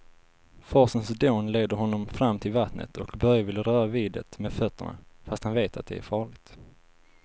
Forsens dån leder honom fram till vattnet och Börje vill röra vid det med fötterna, fast han vet att det är farligt.